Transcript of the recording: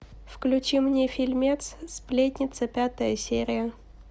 включи мне фильмец сплетница пятая серия